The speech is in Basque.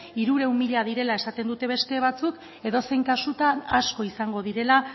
hirurehun mila direla esaten dute beste batzuk edozein kasutan asko izango direla